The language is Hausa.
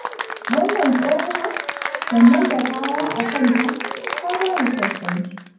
Wannan tsohuwar sannan da kaya a kanta ta bani tausayi